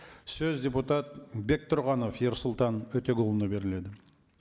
сөз депутат бектұрғанов ерсұлтан өтеғұлұлына беріледі